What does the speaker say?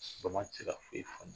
Bama cira fo i